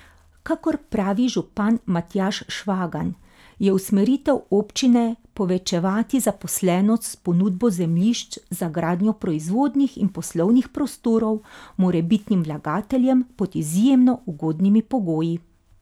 Kakor pravi župan Matjaž Švagan, je usmeritev občine povečevati zaposlenost s ponudbo zemljišč za gradnjo proizvodnih in poslovnih prostorov morebitnim vlagateljem pod izjemno ugodnimi pogoji.